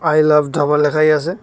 I love dhaba লেখাই আসে।